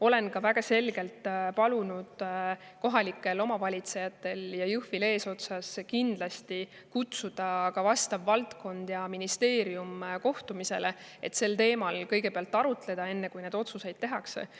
Olen väga selgelt palunud kohalikel omavalitsejatel kutsuda ka valdkonnaministeerium kohtumisele, et sel teemal kõigepealt arutleda, enne kui otsused tehakse.